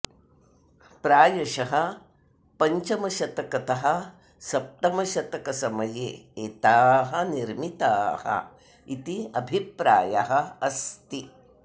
प्रायशः पञ्चमशतकतः सप्तमशतकसमये एताः निर्मिताः इति अभिप्रायः अस्ति